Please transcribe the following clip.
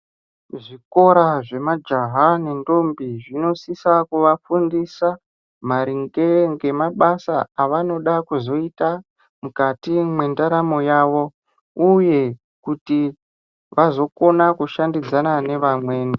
Kuzvikora zvemajaha nendombi zvinosisa kuvafundisa maringe ngemabasa avanoda kuzoita mukati mwendaramo yavo. Uye kuti vazokona kushandidzana nevamweni.